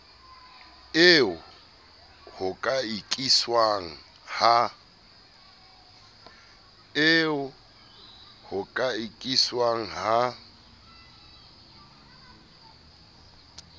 eo ho ka ikiswang ha